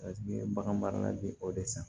Paseke bagan marala bi o de san